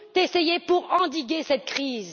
essayé pour endiguer cette crise.